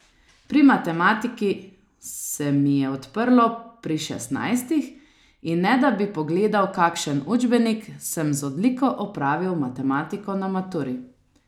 Pri matematiki se mi je odprlo pri šestnajstih in ne da bi pogledal kakšen učbenik, sem z odliko opravil matematiko na maturi.